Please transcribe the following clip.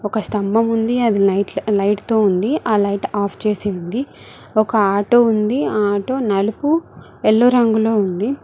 ఒక స్తంభం ఉంది అది లైట్ తో ఉంది ఆ లైట్ ఆఫ్ చేసింది ఒక ఆటో ఉంది ఆటో నలుపు ఎల్లో రంగులో ఉంది.